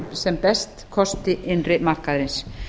sem best kosti innri markaðarins